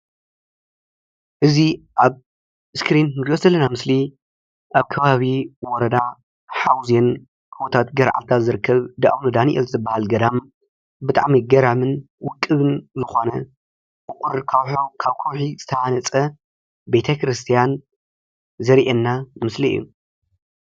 እዚ አብ እስክሪን እንሪኦ ዘለና ምስሊ አብ ከባቢ ወረዳ ሓውዜን ጉቦታት ገርዓልታን ዝርከብ እንዳ አውነ ዳንኤል ዝበሃል ገዳም ብጣዕሚ ገራምን ውቅብን ዝኮነ እዩ። ካብ ከውሒ ዝተሃነፀ ቤተክርስቲያን ዘርኢና ምስሊ እዩ፡፡